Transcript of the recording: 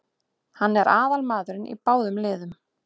Hann er aðalmaðurinn í báðum liðum.